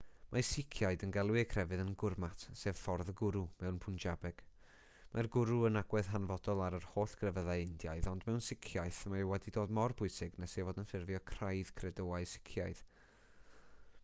mae siciaid yn galw eu crefydd yn gurmat sef ffordd y gwrw mewn pwnjabeg mae'r gwrw yn agwedd hanfodol ar yr holl grefyddau indiaidd ond mewn siciaeth mae wedi dod mor bwysig nes ei fod yn ffurfio craidd credoau sicaidd